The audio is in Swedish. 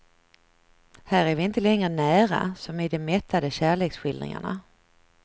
Här är vi inte längre nära, som i de mättade kärleksskildringarna.